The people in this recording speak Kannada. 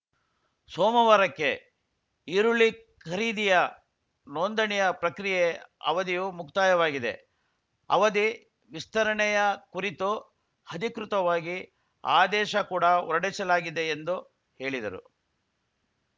ಸೋಮವಾರಕ್ಕೆ ಈರುಳ್ಳಿ ಖರೀದಿಯ ನೋಂದಣಿಯ ಪ್ರಕ್ರಿಯೆ ಅವಧಿಯು ಮುಕ್ತಾಯವಾಗಿದೆ ಅವಧಿ ವಿಸ್ತರಣೆಯ ಕುರಿತು ಹಧಿಕೃತವಾಗಿ ಆದೇಶ ಕೂಡ ಹೊರಡಿಸಲಾಗಿದೆ ಎಂದು ಹೇಳಿದರು